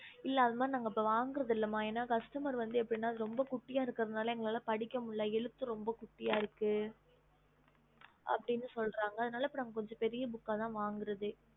இல்ல அந்தமாரி நாங்க வாங்குறது இல்ல ம எங்களை படிக்க முடியல ரொம்ப கூடிய இருக்கு எழுத்து கண்ணுக்கு தெரியலஅப்டினு சொல்ராங்க நாங்க பெரிய book இருக்கு